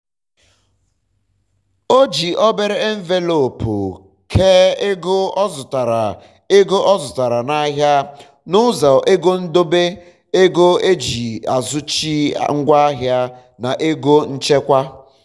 o ji obere envelopu kee ego ọ zụtara ego ọ zụtara na ahịa n'ụzọ ego ndobe ego eji azụtachi ngwa ahịa um na ego nchekwaa um